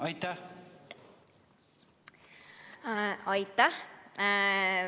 Aitäh!